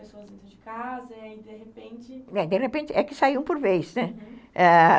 As quatro pessoas iam de casa e aí de repente... De repente é que saíam por vez, né?